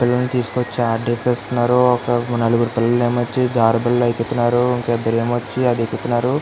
పిల్లలినీ తీసుకొచ్చి ఆడిపిస్తున్నారు నలుగురు పిల్లలు ఏమో జారుడు ఎక్కుతున్నారు ఇద్దరు ఏమో వచ్చి అది ఎక్కుతున్నారు.